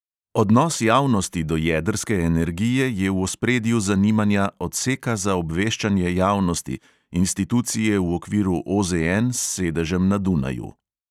Odnos javnosti do jedrske energije je v ospredju zanimanja odseka za obveščanje javnosti, institucije v okviru OZN s sedežem na dunaju.